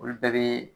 Olu bɛɛ bɛ